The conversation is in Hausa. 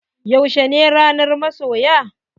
Yaushe ne ranar masoya?